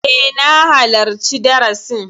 E, na halarci darasin.